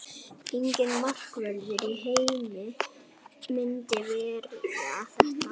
Enginn markvörður í heimi myndi verja þetta.